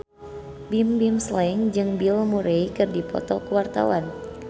Bimbim Slank jeung Bill Murray keur dipoto ku wartawan